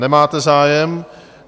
Nemáte zájem.